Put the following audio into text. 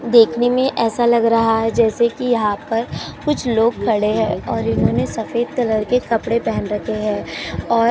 देखने में ऐसा लाग रहा है जैसे कि यहाँ पर कुछ लोग खड़े हैं और इन्होंने सफेद कलर के कपड़े पहन रखे हैं और --